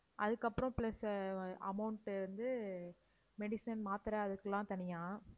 அதுக்கப்புறம் plus அஹ் அஹ் amount வந்து medicine, மாத்திரை அதுக்கெல்லாம் தனியா